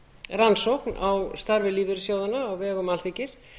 rannsókn á starfi lífeyrissjóðanna á vegum alþingis